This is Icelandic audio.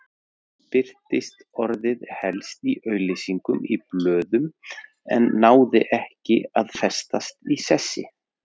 Birtist orðið helst í auglýsingum í blöðum en náði ekki að festast í sessi.